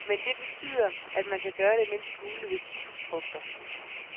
Men det betyder, at man skal gøre mindst muligt ved citrusfrugter.